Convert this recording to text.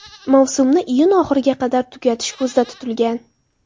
Mavsumni iyun oxiriga qadar tugatish ko‘zda tutilgan.